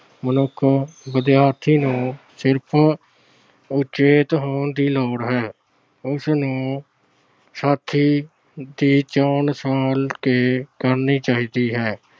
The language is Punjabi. ਮਨੁੱਖ ਵਿਦਿਆਰਥੀ ਨੂੰ ਸਿਰਫ ਉਚੇਤ ਹੋਣ ਦੀ ਲੋੜ ਹੈ। ਉਸਨੂੰ ਸਾਥੀ ਦੀ ਚੋਣ ਸੰਭਾਲ ਕੇ ਕਰਨੀ ਚਾਹੀਦੀ ਹੈ।